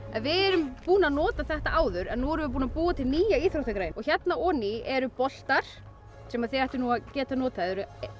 en við erum búin að nota þetta áður en nú erum við búin að búa til nýja íþróttagrein og hérna oní eru boltar sem þið ættuð að geta notað